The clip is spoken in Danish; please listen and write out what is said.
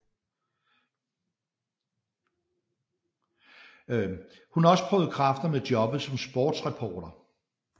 Hun har også prøvet kræfter med jobbet som sporstreporter